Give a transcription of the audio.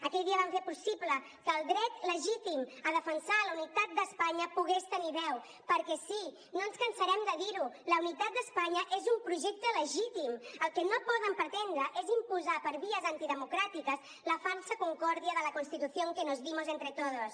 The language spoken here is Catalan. aquell dia vam fer possible que el dret legítim a defensar la unitat d’espanya pogués tenir veu perquè sí no ens cansarem de dir ho la unitat d’espanya és un projecte legítim el que no poden pretendre és imposar per vies antidemocràtiques la falsa concòrdia de la constitución que nos dimos entre todos